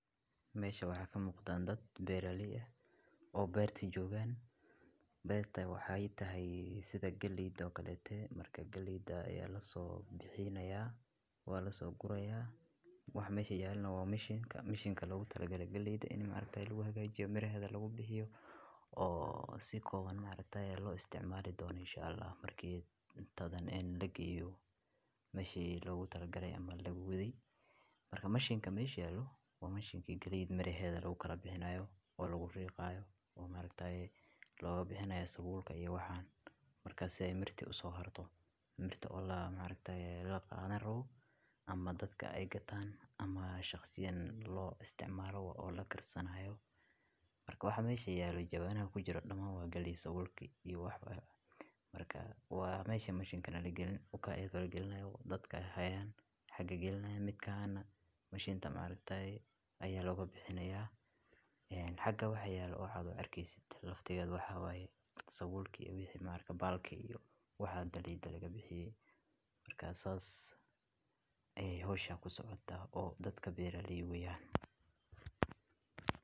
Meesha waxa ka muuqdaan dad beerali ah oo beertii joogaan. Beerta waxaa yahay sida geliidka kala duwatee. Markaa geliidka ayaa lasoo bixiinayaa oo lasoo gurayaa, waxa meesha yaalina waa mashiinka, mashiinka lagu talgalay geliidka in maalmaha lagaga helayo miryada lagu biyo oo si kooban macaalitaya loo isticmaali doon inshaAllah. Markii u danbeeyan laga iibo mashiis lagu talgalay ama lagugu gudbi markaa mashiinka meesha yeelo waa mashinkii geliid mar yeedhii lagu kala bixino oo lagu riiqayo waad maalintee loo bixinayso sabuulka iyo waxaan marka aysan imirta usoo harto imirta oo la macaalitay gaar aheyd ama dadka ay gataan ama shaqsiyan loo isticmaalaysto oo la kirsanayo. Marka waxa meesha yaalo jebena ku jiro dhamaan gali sabuulki iyo waxba markaa waa meesha mashiinkana la gelin u ka eeg fargelino dadka hayaan xagga gelina midka ayna mashiinta macaalitay ayaa laga bixinayaa aan xagga waxyaalo oo cadu carkiisa laftigaad waxaa waaye sabuulki u bixi marka baalka iyo waxaad daliidleyso bixi markaasaas ayay hawsha ku socontaa oo dadka beerali weyaan.